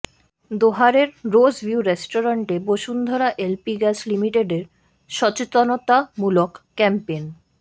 দোহারের Rose View রেস্টুরেন্টে Bashundhara LP gas লিমিটেডের সচেতনতামূলক ক্যাম্পেইন